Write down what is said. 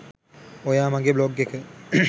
ඔයා මගෙ බ්ලොග් එක